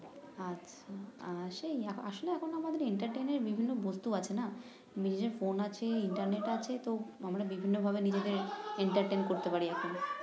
আর আহ সেই আসলে এখন আমাদের এর বিভিন্ন বস্তু আছে না নিজের ফোন আছে ইন্টারনেট আছে তো আমরা বিভিন্নভাবে নিজেদের করতে পারি এখন